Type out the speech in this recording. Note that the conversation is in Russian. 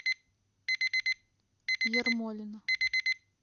ермолино